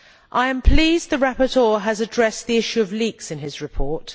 I am pleased the rapporteur has addressed the issue of leaks in his report.